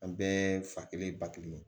An bɛɛ fa kelen ye ba kelen ye